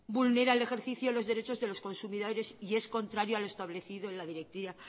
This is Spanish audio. vulnera el ejercicio de los derechos de los consumidores y es contrario a lo establecido en la directiva